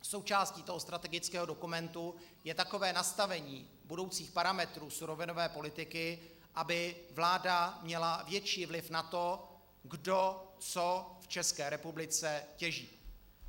Součástí toho strategického dokumentu je takové nastavení budoucích parametrů surovinové politiky, aby vláda měla větší vliv na to, kdo co v České republice těží.